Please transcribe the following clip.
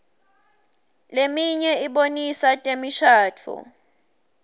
leminye ibonisa temishadvo